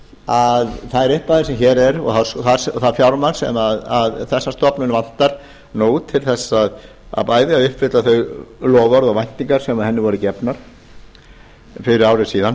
að þær upphæðir sem hér eru og það fjármagn sem þessa stofnun vantar nú bæði til að uppfylla þau loforð og væntingar sem henni voru gefnar fyrir ári síðan